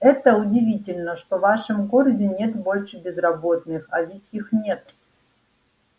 это удивительно что в нашем городе нет больше безработных а ведь их нет